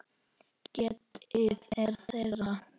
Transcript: Getið er þeirra.